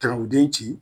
Tag'i ci